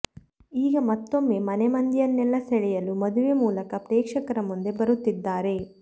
ಈಗ ಮತ್ತೊಮ್ಮೆ ಮನೆಮಂದಿಯನ್ನೆಲ್ಲಾ ಸೆಳೆಯಲು ಮದುವೆ ಮೂಲಕ ಪ್ರೇಕ್ಷಕರ ಮುಂದೆ ಬರುತ್ತಿದ್ದಾರೆ